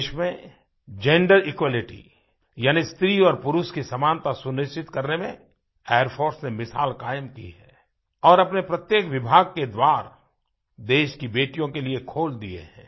देश में gender equality यानी स्त्री और पुरुष की समानता सुनिश्चित करने में एयर फोर्स ने मिसाल कायम की है और अपने प्रत्येक विभाग के द्वार देश की बेटियों के लिए खोल दिए हैं